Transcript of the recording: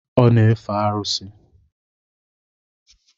Ọ na-efe arụsị.